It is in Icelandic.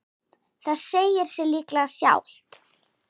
Það segir sig líklega sjálft.